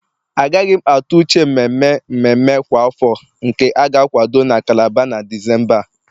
Agaghị m atụ uche mmemme mmemme kwa afọ nke a ga-akwado na Calabar na Disemba a